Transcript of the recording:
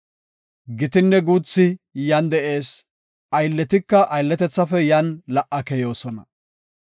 Gitinne guuthi yan de7ees; aylletika aylletethafe yan la77a keyoosona.